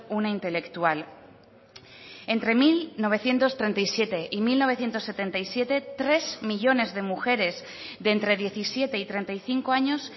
una intelectual entre mil novecientos treinta y siete y mil novecientos setenta y siete tres millónes de mujeres de entre diecisiete y treinta y cinco años